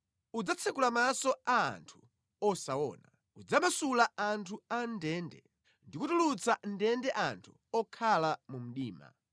Udzatsekula maso a anthu osaona, udzamasula anthu a mʼndende ndi kutulutsa mʼndende anthu okhala mu mdima.